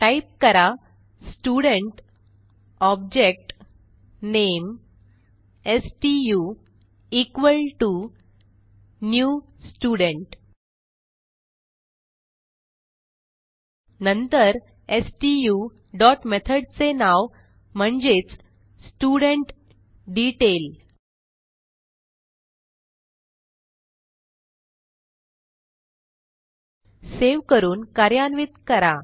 type करा student object नामे stu s t u equal T O new student नंतर stu dot मेथडचे नाव म्हणजेच स्टुडेंटडेतैल सेव्ह करून कार्यान्वित करा